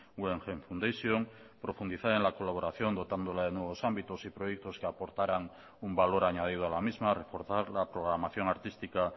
guggenheim fundation profundizar en la colaboración dotándola de nuevos ámbitos y proyectos que aportaran un valor añadido a la misma reforzar la programación artística